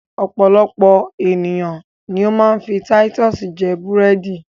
Ọpọ̀lọpọ̀ ènìyàn ni ó ma ń fi Titus jẹ búrẹ̀dì